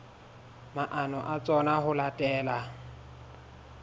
maano a tsona ho latela